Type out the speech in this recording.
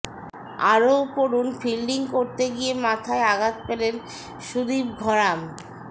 আরও পড়ুন ফিল্ডিং করতে গিয়ে মাথায় আঘাত পেলেন সুদীপ ঘরাম